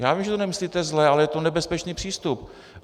Já vím, že to nemyslíte zle, ale je to nebezpečný přístup.